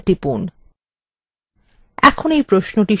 enter টিপুন